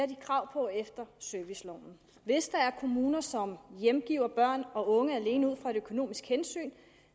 de krav på efter serviceloven hvis der er kommuner som hjemgiver børn og unge alene ud fra et økonomisk hensyn